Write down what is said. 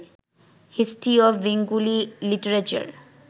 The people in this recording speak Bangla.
"history of Bengali literature"